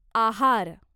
आहार